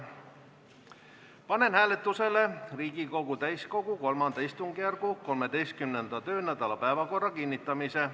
Panen hääletusele Riigikogu täiskogu III istungjärgu 13. töönädala päevakorra kinnitamise.